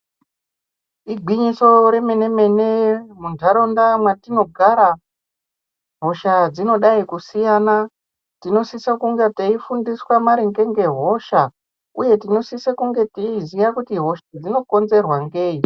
Igwinyiso remene-mene, muntaraunda mwatinogara hosha dzinodai kusiyana tinosise kunge teifundiswa maringe ngehosha uye tinosise kunge teiziya kuti hosha dzino konzerwa ngei.